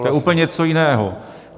To je úplně něco jiného.